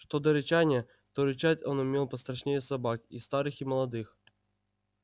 что до рычания то рычать он умел пострашнее собак и старых и молодых